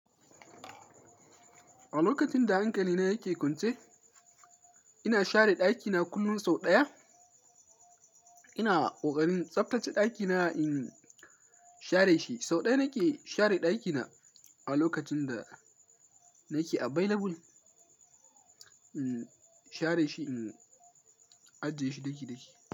A lokacin da hankali na yake kwance, ina share ɗakina kullum sau ɗaya. Ina ƙoƙarin tsaftace ɗakina in share shi. Sau ɗaya nake share ɗakina a lokacin da nake available, in share shi, in ajiye shi daki daki.